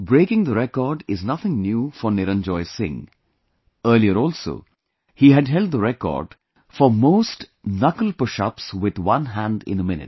Breaking the record is nothing new for Niranjoy Singh, earlier also, he had held the record for most Knuckle pushups with one hand in a minute